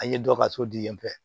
An ye dɔ ka so di yen